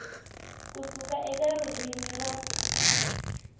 ku suka eka ririmi ra